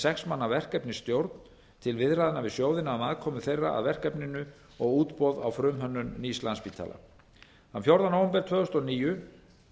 sex manna verkefnisstjórn til viðræðna við sjóðina um aðkomu þeirra að verkefninu og útboð á frumhönnun nýs landspítala þann fjórða nóvember tvö þúsund og níu